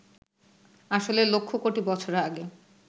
আসলে লক্ষ কোটি বছর আগে